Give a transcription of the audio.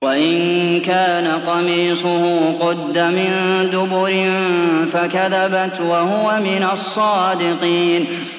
وَإِن كَانَ قَمِيصُهُ قُدَّ مِن دُبُرٍ فَكَذَبَتْ وَهُوَ مِنَ الصَّادِقِينَ